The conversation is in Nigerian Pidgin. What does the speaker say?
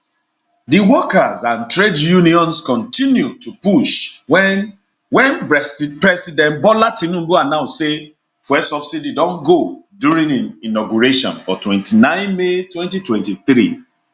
di workers and trade unions kontinu to push wen wen president bola tinubu announce say fuel subsidy don go during im inauguration for 29 may 2023